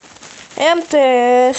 мтс